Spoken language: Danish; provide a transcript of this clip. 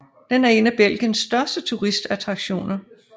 Den er en af Belgiens største turistattraktioner